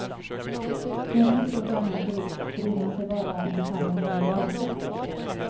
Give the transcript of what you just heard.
En ett år gammal bro bryr man sig bara om ifall den skulle rasa.